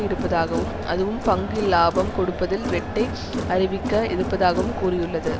இருப்பதாகவும் அதுவும் பங்கு இலாபம் கொடுப்பதில் வெட்டை அறிவிக்க இருப்பதாகவும் கூறியுள்ளது